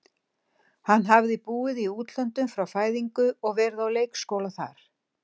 Hann hafði búið í útlöndum frá fæðingu og verið á leikskóla þar.